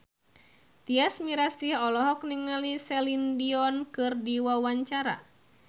Tyas Mirasih olohok ningali Celine Dion keur diwawancara